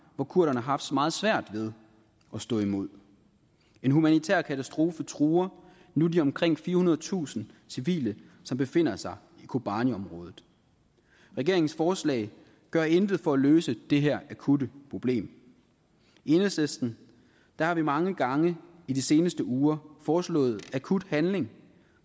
hvor kurderne har haft meget svært ved at stå imod en humanitær katastrofe truer nu de omkring firehundredetusind civile som befinder sig i kobaniområdet regeringens forslag gør intet for at løse det her akutte problem enhedslisten har mange gange i de seneste uger foreslået akut handling